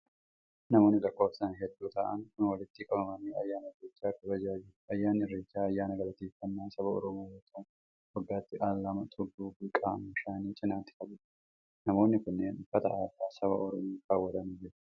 Namoonni lakkoofsan hedduu ta'an kun walitti qabamanii ayyaana irreechaa kabajaa jiru. Ayyaanni irreechaa ayyaana galateeffannaa saba Oromoo yoo ta'u, waggaattii al lama tulluu fi qaama bishaanii cinaatti kbajama. Namoonni kunneen, uffata aadaa saba Oromoo kaawwatanii jiru.